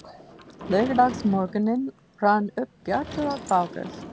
Laugardagsmorgunninn rann upp bjartur og fagur.